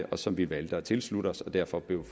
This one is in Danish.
og som vi valgte at tilslutte os og derfor blev